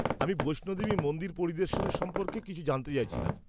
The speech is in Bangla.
আমি বৈষ্ণো দেবী মন্দির পরিদর্শন সম্পর্কে কিছু জানতে চাইছিলাম।